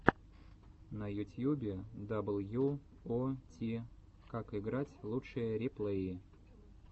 на ютьюбе дабл ю о ти как играть лучшие реплеи